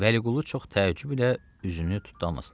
Vəliqulu çox təəccüblə üzünü tutdu anasına.